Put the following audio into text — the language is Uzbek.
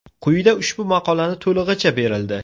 Quyida ushbu maqolani to‘lig‘icha berildi.